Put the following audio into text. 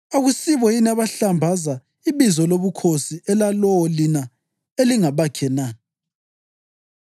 Akusibo yini abahlambaza ibizo lobukhosi elalowo lina elingabakhe na?